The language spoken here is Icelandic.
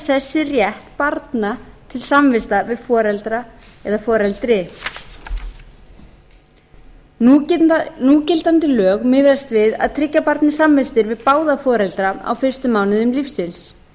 sessi rétt barna til samvista við foreldra eða foreldri núgildandi lög miðast við að tryggja barni samvistir við báða foreldra á fyrstu mánuðum lífsins